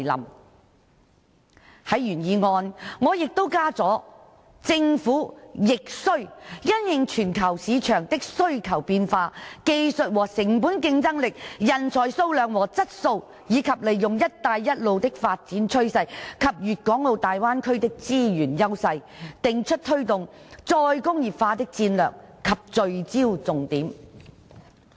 我在原議案加上"政府亦須因應全球市場的需求變化、技術和成本競爭力、人才數量和質素，以及利用'一帶一路'的發展趨勢及粵港澳大灣區的資源優勢，訂出推動'再工業化'的戰略及聚焦重點"。